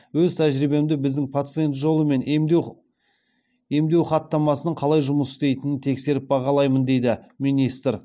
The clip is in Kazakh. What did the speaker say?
өз тәжірибемде біздің пациент жолы мен емдеу хаттамасының қалай жұмыс істейтінін тексеріп бағалаймын дейді министр